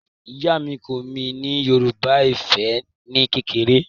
Ìyá mi kọ́ mi ní Yorùbá Ifẹ̀ ni kékeré